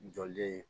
Jɔlen